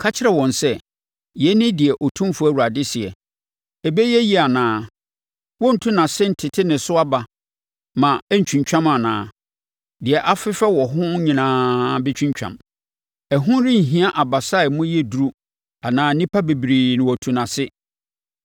“Ka kyerɛ wɔn sɛ, ‘Yei ne deɛ Otumfoɔ Awurade seɛ: Ɛbɛyɛ yie anaa? Wɔrentu nʼase ntete ne so aba ma ɛntwintwam anaa? Deɛ afefɛ wɔ ho nyinaa bɛtwintwam. Ɛho renhia abasa a emu yɛ duru anaa nnipa bebree na watu nʼase.